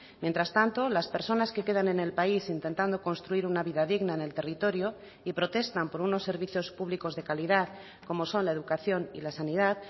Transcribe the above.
mientras tanto las personas que quedan en el país intentando construir una vida digna en el territorio y protestan por unos servicios públicos de calidad como son la educación y la sanidad